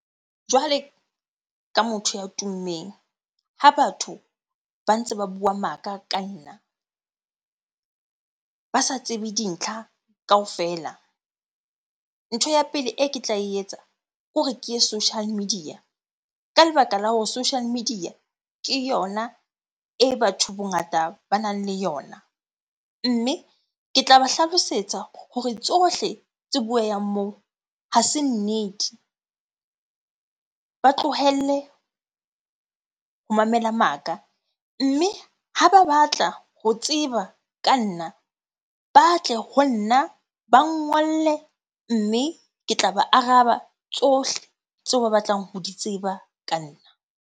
Jwale ka motho ya tummeng. Ha batho ba ntse ba bua maka ka nna, ba sa tsebe dintlha kaofela. Ntho ya pele e ke tla etsa ke hore ke ye social media. Ka lebaka la hore social media ke yona e batho bongata ba nang le yona. Mme ke tla ba hlalosetsa hore tsohle tse bueyang moo ha se nnete, ba tlohelle ho mamela maka. Mme ha ba batla ho tseba ka nna, ba tle ho nna, ba ngolle mme ke tla ba araba tsohle tseo ba batlang ho di tseba ka nna.